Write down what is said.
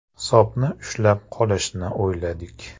Hisobni ushlab qolishni o‘yladik.